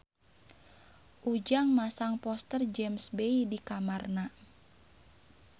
Ujang masang poster James Bay di kamarna